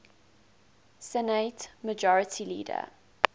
senate majority leader